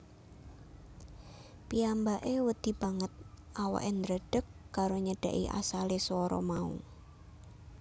Piyambake wedi banget awake ndredeg karo nyedhaki asale swara mau